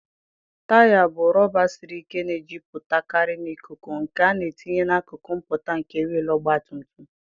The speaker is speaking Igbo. Taya bụ rọba siri ike na-ejupụtakarị na ikuku, nke a na-etinye n'akụkụ mpụta nke wịịlụ ọgbatumtum.